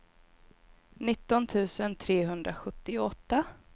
nitton tusen trehundrasjuttioåtta